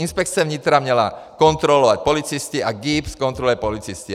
Inspekce vnitra měla kontrolovat policisty a GIBS kontroluje policisty.